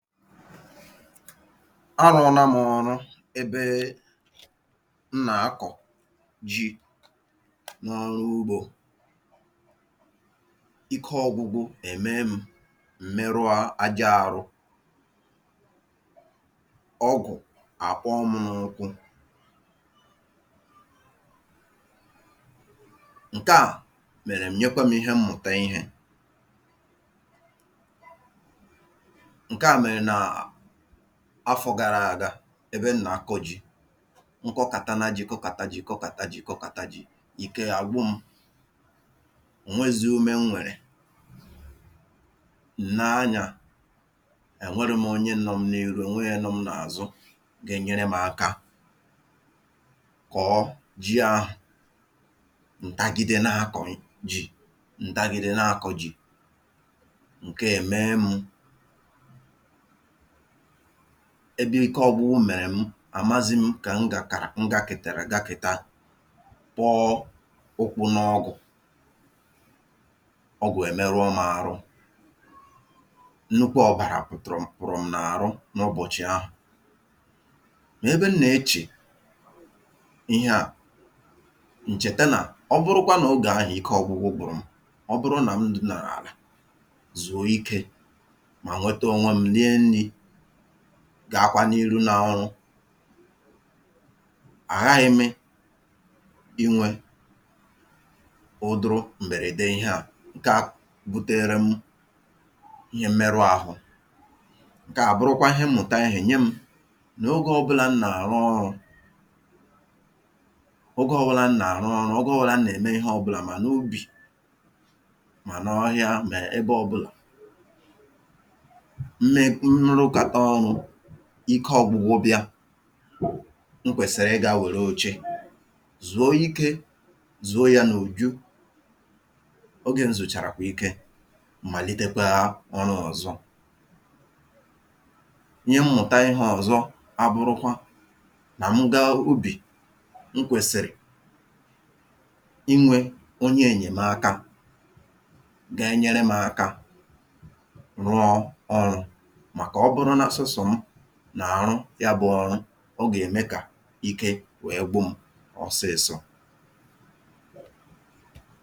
a rụ̄ọna m ọrụ ebe n nà-akọ̀ ji n’ọrụ ugbō ike ọgwụgwụ èmee m m̀ merụa aja arụ ọgụ̀ àkpọọ m n’ụkwụ nkeà mèrè m nyekwe m̄ ihe mmụ̀ta ihē ǹkeà mèrè nàà afọ̄ gara àga ebe m nà-akọ̄ ji nkọkàtana jī kọtàka jī kọtàka jī kọtàka jī ike àgwụ m̄ ò nweēzi ume n nwèrè ǹ nee anyā è nwerọ̄m onye nọm n’iru ò nweē onye nọm n’àzụ ga-enyerem̄ aka kọ̀ọ ji ahụ̀ ǹtagide na-ákọ̀n jī ǹtagide na-akọ̄ jí ǹkeè èmee m̄ ebe ike ọgwụgwụ mèrè m àmazị̄m kà n gàkàrà n gākètàrà gakèta kpọọ ụkwụ̄ n’ọgụ̀ ọgù èmeruo m̄ arụ nnukwu ọ̀bàrà pụ̀tụ̀rụ̀m pụ̀rụ̀m n’àrụ n’ụbọ̀chị̀ ahụ̀ n’ebe n nà-echè iheà ǹ chèta nà ọ bụrụkwa nà ogè ahụ̀ ike ọgwụgwụ kwụ̀rụ̀m ọ bụrụ nà m dinàrà àlà zùo ikē mà nwete ònwem̄ rie nnī gaakwa n’ihu n’ọrụ àghaghị̄ mị ị nwē ụdụrụ m̀bèrède iheà ǹka buterem ihe mmerụ ahụ ǹkeà bụrụkwa ihe mmụ̀ta ihē nyem̄ nà ogē ọbụlā n nà-àrụ ọrụ̄ nà ogē ọbụlā n nà-àrụ ọrụ̄, ogē ọbụlà n nà-ème ihe ọbụlà mà n’ubì mà n’ọhịa mà ebe ọbụlà m me m rụkàta ọrụ̄ ike ọgwụgwụ bịa n kwèsị̀rị̀ ịgā wère oche zùo ikē, zùo yā n’ùju ogē ǹ zùchèràkwà ike m̀ màlitekwaa ọrụ̄ ọ̀zọ ihe mmụ̀ta ihē ọ̀zọ abụrụkwa nà mụ gaa ubì n kwèsị̀rị̀ inwē onye ènyèmaka ga-enyerem̄ aka rụọ ọrụ̄ màkà ọbụrụ na sọsọ mụ nà-àrụ ya bụ̄ ọrụ ọ gà-ème kà ike wèe gwụm̄ ọsịị̄sọ̄